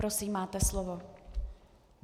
Prosím, máte slovo.